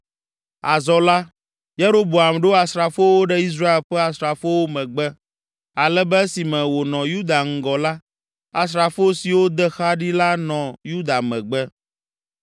Azɔ la, Yeroboam ɖo asrafowo ɖe Israel ƒe asrafowo megbe, ale be esime wònɔ Yuda ŋgɔ la, asrafo siwo de xa ɖi la nɔ Yuda megbe.